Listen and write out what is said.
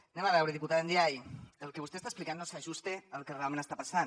anem a veure diputada ndiaye el que vostè està explicant no s’ajusta al que realment està passant